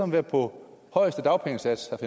være på højeste dagpengesats